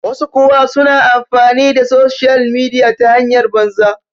wasu kuwa suna amfani da soshiyal midiya ta hanyar banza